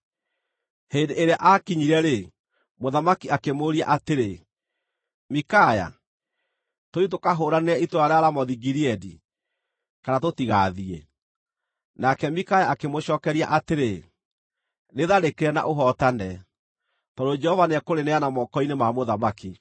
Hĩndĩ ĩrĩa aakinyire-rĩ, mũthamaki akĩmũũria atĩrĩ, “Mikaya, tũthiĩ tũkahũũranĩre itũũra rĩa Ramothu-Gileadi, kana tũtigaathiĩ?” Nake Mikaya akĩmũcookeria atĩrĩ, “Rĩtharĩkĩre na ũhootane, tondũ Jehova nĩekũrĩneana moko-inĩ ma mũthamaki.”